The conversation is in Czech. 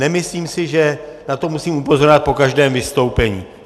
Nemyslím si, že na to musím upozorňovat po každém vystoupení.